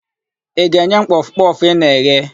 Ị ga-enye m kpọfụ kpọfụ ị na-eghe?